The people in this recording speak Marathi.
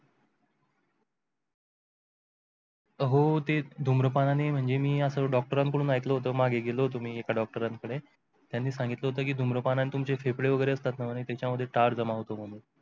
हो ते धूम्रपानाने म्हणजे मी असा doctor कडून ऐकलं होत मागे गेलो होतो मी एका doctor कडे. त्यांनी सांगितलं होत की धूम्रपानाने तुमचे फेफडे वगैरे असतात ना त्याच्यामध्ये तार जमा होतो म्हणून.